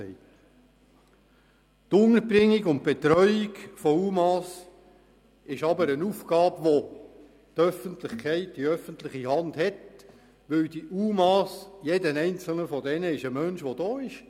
Die Unterbringung und Betreuung der UMA ist aber eine Aufgabe, die die öffentliche Hand hat, weil jeder einzelne UMA ein Mensch ist, der hier ist.